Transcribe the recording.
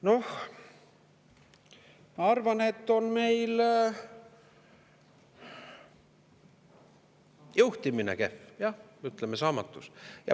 Noh, ma arvan, et on meil juhtimine kehv, jah, ütleme, saamatu.